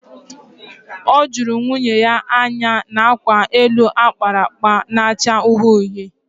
O juru nwunye ya anya n'akwa elu akpara akpa na-acha uhie uhie